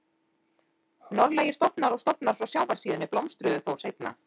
Norðlægir stofnar og stofnar frá sjávarsíðunni blómstruðu þó seinna.